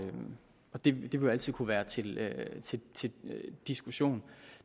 det vil jo altid kunne være til til diskussion